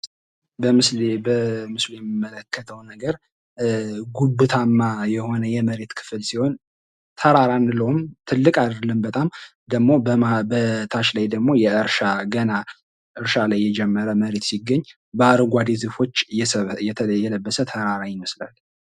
በምስሉ ላይ የምንመለከተው ነገር ጉብታማ የሆነ የመሬት ክፍል ሲሆን፤ ተራራ አንለውም ።ትልቅ አይደለም በጣም ደግሞ በታች ላይ ደግሞ የ እርሻ ላይ የጀመረ መሬት ሲገኝ ፤ በአረንጓዴ ዛፎች የለበሰ ተራራ ይመስላል።